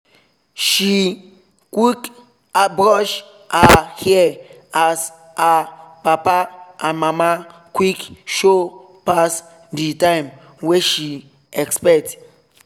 she quick brush her hair as her papa and mama quick show pass the time wey she expect